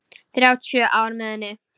Þrjátíu ár með henni.